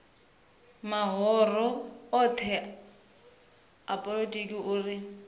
mahoro othe a polotiki uri